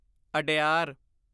Adyar